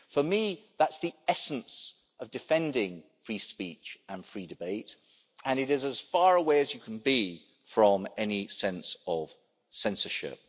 For me, that's the essence of defending free speech and free debate, and it is as far away as you can be from any sense of censorship.